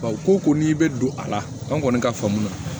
Baw ko ko n'i bɛ don a la an kɔni ka faamu na